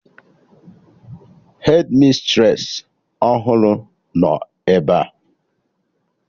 Hedmistresị ọhụrụ nọ ebea